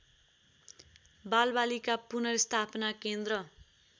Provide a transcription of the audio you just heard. बालबालिका पुनर्स्थापना केन्द्र